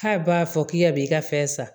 K'a b'a fɔ k'i yɛrɛ b'i ka fɛn san